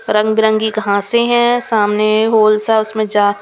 रंग-बिरंगी कहां से हैं सामने होल सा उसमें जा.